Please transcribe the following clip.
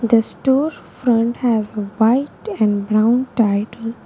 The store front has white and brown --